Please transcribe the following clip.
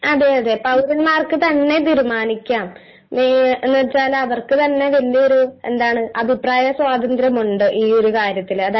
അതെ.. അതെ.. പൗരന്മാർക്കു തന്നെ തീരുമാനിക്കാം . ങ്ങീ .. എന്നുവച്ചാല് അവർക്കു തന്നെ വല്യൊരു എന്താണ് അഭിപ്രായ സ്വാതന്ത്ര്യമുണ്ട് ഈ ഒരു കാര്യത്തില്.